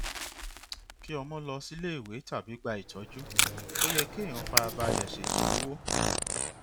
kí ọmọ lọ sílé ìwé tàbí gbà ìtọju ó yẹ kéèyàn fara balẹ ṣètò owó